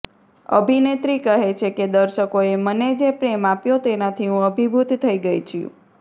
અભિનેત્રી કહે છે કે દર્શકોએ મને જે પ્રેમ આપ્યો તેનાથી હું અભિભૂત થઇ ગઇ છું